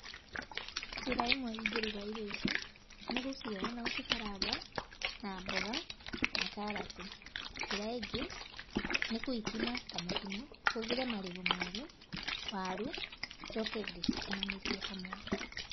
Njĩra ĩmwe ingĩruga irio ici, nĩ gũcioya na gũcikaranga na mboga na karati. Njĩra ĩngĩ, nĩ kũikima ta mũkimo, hũthĩre marigũ meru, waru, njoke ndĩcikimanĩrie hamwe.